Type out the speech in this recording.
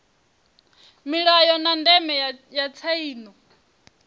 mulayo na ndeme ya tsaino